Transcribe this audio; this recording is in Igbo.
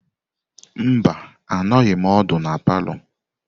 Mba, anọghim ódu na palọ.